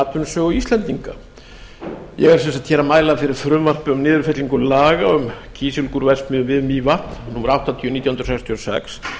atvinnusögu íslendinga ég mæli sem sagt fyrir frumvarpi um niðurfellingu laga um kísilgúrverksmiðju við mývatn númer áttatíu nítján hundruð sextíu og sex